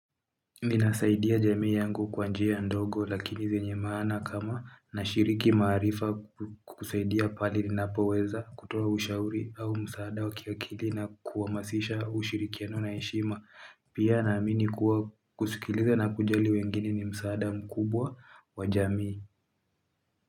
Ninasaidia jamii yangu kwa njia ndogo lakini zenye maana kama nashiriki maarifa kusaidia pahali ninapoweza kutoa ushauri au msaada wa kiakili na kuwamasisha ushirikiano na heshima. Pia naamini kuwa kusikiliza na kujali wengine ni msaada mkubwa wa jamii.